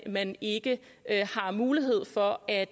man ikke har mulighed for at